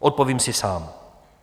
Odpovím si sám.